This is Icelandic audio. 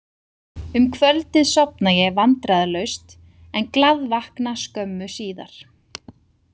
Um kvöldið sofna ég vandræðalaust en glaðvakna skömmu síðar.